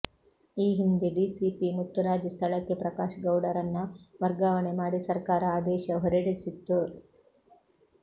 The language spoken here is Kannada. ಈ ಹಿಂದೆ ಡಿಸಿಪಿ ಮುತ್ತುರಾಜ್ ಸ್ಥಳಕ್ಕೆ ಪ್ರಕಾಶ್ ಗೌಡರನ್ನ ವರ್ಗಾವಣೆ ಮಾಡಿ ಸರ್ಕಾರ ಆದೇಶ ಹೊರಡಿಸಿತ್ತು